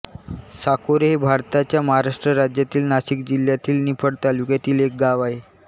साकोरे हे भारताच्या महाराष्ट्र राज्यातील नाशिक जिल्ह्यातील निफाड तालुक्यातील एक गाव आहे